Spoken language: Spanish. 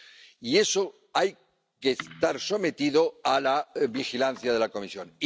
Y eso tiene que estar sometido a la vigilancia de la Comisión.